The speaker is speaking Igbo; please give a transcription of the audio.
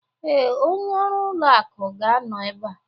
Ee, onye ọrụ ụlọ akụ ga-anọ ebe a.